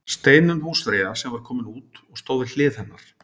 Steinunn húsfreyja sem var komin út og stóð við hlið hennar.